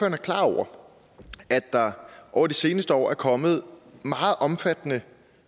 er klar over at der over de seneste år er kommet meget omfattende